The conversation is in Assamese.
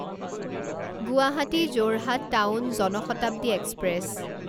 Guwahati Jorhat town Jan Shatabdi express